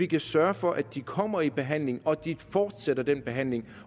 kan sørge for at de kommer i behandling og at de fortsætter den behandling